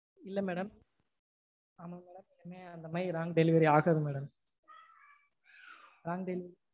இல்ல madam ஆமா madam இனிமேல் அந்த மாதிரி wrong delivery ஆகாது madam wrong delivery